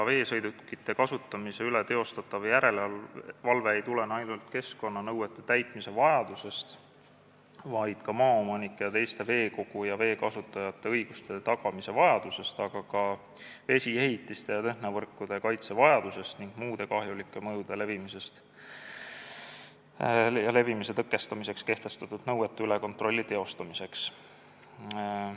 Veesõidukite kasutamise üle tehtav järelevalve ei tulene ainult keskkonnanõuete täitmise vajadusest, vaid ka maaomanike ja teiste veekogu ja vee kasutajate õiguste tagamise vajadusest, aga samuti vesiehitiste ja tehnovõrkude kaitse vajadusest ning see on vajalik muude kahjulike mõjutuste levimise tõkestamiseks kehtestatud nõuete üle kontrolli teostamiseks.